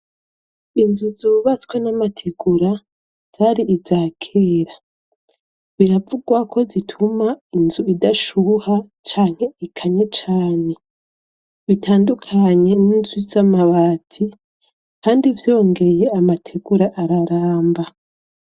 Inzu zubatswe namategura zari izakera. Biravugwako zituma inzu idashuha canke ikanye cane. Bitandukanye n'inzu z'amabati kandi vyongeye amategura araramba.